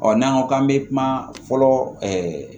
Ɔ n'an ko k'an bɛ kuma fɔlɔ ɛɛ